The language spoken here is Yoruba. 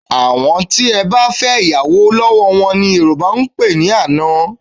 Àwọn tí ẹ bá fẹ́ ìyàwò lọ́wọ́ wọn ni Yorùbá ń pè ní àna